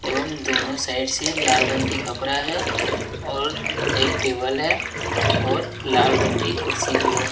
एवं दोनों साइड से लाल रंग की कपरा है और एक टेबल है और लाल रंग की कुर्सी भी है।